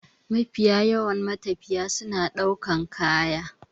Mafiya yawan matafiya suna ɗaukan kaya.